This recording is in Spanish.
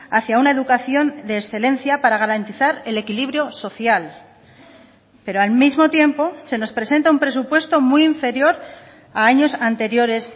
hacia una educación de excelencia para garantizar el equilibrio social pero al mismo tiempo se nos presenta un presupuesto muy inferior a años anteriores